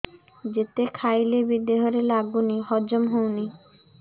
ଯେତେ ଖାଇଲେ ବି ଦେହରେ ଲାଗୁନି ହଜମ ହଉନି